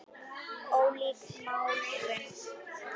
Ólík nálgun.